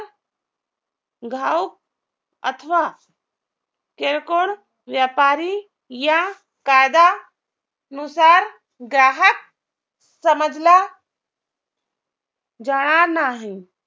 अथवा किरकोळ व्यापारी या कायदा नुसार ग्राहक समजला जाणार नाही